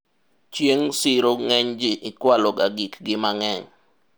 chieng' siro ng'eny ji ikwalo ga gik gi mang'eny